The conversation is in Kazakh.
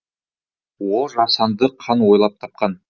ол жасанды қан ойлап тапқан